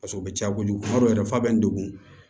Paseke o bɛ ja kojugu kuma dɔw yɛrɛ fɔ a bɛ n degun